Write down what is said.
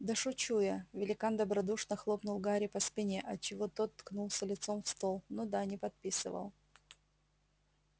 да шучу я великан добродушно хлопнул гарри по спине отчего тот ткнулся лицом в стол ну да не подписывал